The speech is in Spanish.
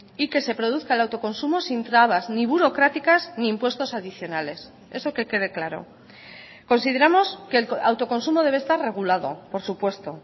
y que se produzca el autoconsumo sin trabas ni burocráticas ni impuestos adicionales eso que quede claro consideramos que el autoconsumo debe estar regulado por supuesto